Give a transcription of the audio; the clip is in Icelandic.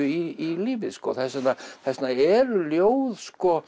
í lífið þess vegna þess vegna eru ljóð